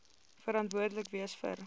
verantwoordelik wees vir